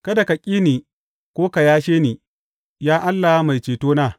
Kada ka ƙi ni ko ka yashe ni, Ya Allah Mai cetona.